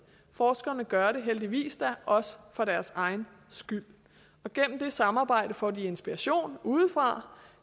forskerne gør det da heldigvis også for deres egen skyld og gennem det samarbejde får de inspiration udefra